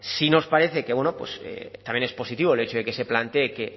sí nos parece que bueno pues también es positivo el hecho de que se plantee que